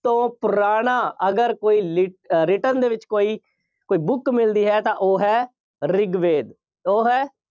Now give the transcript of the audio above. ਤੋਂ ਪੁਰਾਣਾ ਅਗਰ ਕੋਈ ਲਿਖ~ ਅਹ written ਦੇ ਵਿੱਚ ਕੋਈ book ਮਿਲਦੀ ਹੈ ਤਾਂ ਉਹ ਹੈ ਰਿਗਵੇਦ। ਉਹ ਹੈ